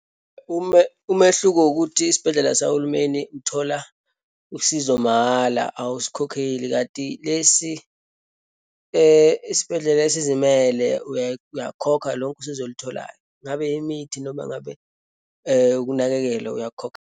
Umehluko ukuthi esibhedlela sahulumeni uthola usizo mahala, awusikhokheli, kanti lesi isibhedlela esizimele uyakhokha lonke usizo olutholayo. Ngabe imithi noma ngabe ukunakekelwa, uyakhokha.